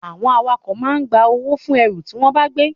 Àwọn awakọ̀ ma ń gba owó fún ẹrù tí wọ́n bá gbé